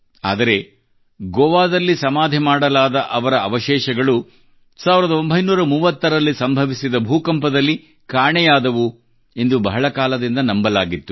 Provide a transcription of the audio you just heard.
ಆದರೆ ಗೋವಾದಲ್ಲಿ ಸಮಾಧಿ ಮಾಡಲಾದ ಅವರ ಅವಶೇಷಗಳು 1930 ರಲ್ಲಿ ಸಂಭವಿಸಿದ ಭೂಕಂಪದಲ್ಲಿ ಕಾಣೆಯಾದವು ಎಂದು ಬಹಳ ಕಾಲದಿಂದ ನಂಬಲಾಗಿತ್ತು